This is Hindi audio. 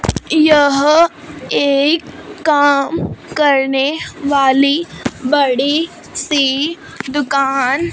यह एक काम करने वाली बड़ीसी दुकान--